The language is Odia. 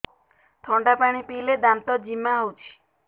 ଥଣ୍ଡା ପାଣି ପିଇଲେ ଦାନ୍ତ ଜିମା ହଉଚି